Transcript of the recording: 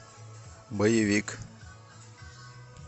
боевик